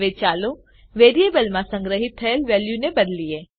હવે ચાલો વેરીએબલમાં સંગ્રહીત થયેલ વેલ્યુને બદલીએ